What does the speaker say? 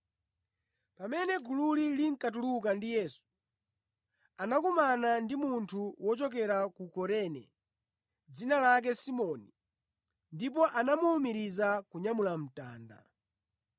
Pamene gululi linkatuluka ndi Yesu, anakumana ndi munthu wochokera ku Kurene dzina lake Simoni ndipo anamuwumiriza kunyamula mtanda.